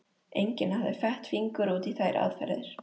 Enginn hafði fett fingur út í þær aðferðir.